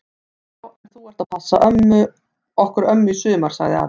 Já en þú ert að passa okkur ömmu í sumar! sagði afi.